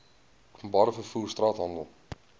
openbare vervoer straathandel